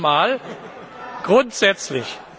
nicht einmal, grundsätzlich!